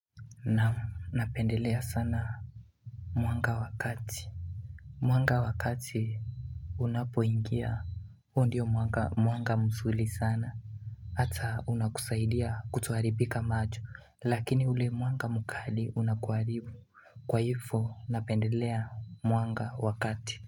Naam napendelea sana mwanga wakati Mwanga wakati Unapoingia hUo ndio mwanga mwanga mzuri sana Hata unakusaidia kutoharibika macho lakini ule mwanga mkali unakuharibu kwa hivo napendelea mwanga wakati.